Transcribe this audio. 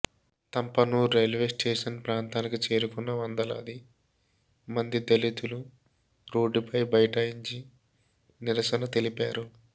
Thampanoor railway station ప్రాంతానికి చేరుకున్న వందలాది మంది దళితులు రోడ్డుపై బైఠాయించి నిరసన తెలిపారు